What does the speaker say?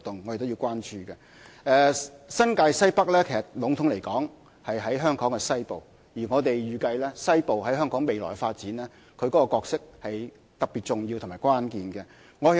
籠統來說，新界西北在香港西部，而我們預計西部在香港未來發展將擔當特別重要和關鍵的角色。